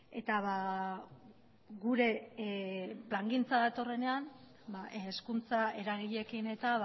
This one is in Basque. eta gure plangintza datorrenean hezkuntza eragileekin eta